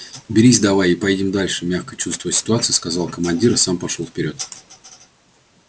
берись давай и поедем дальше мягко чувствуя ситуацию сказал командир и сам пошёл вперёд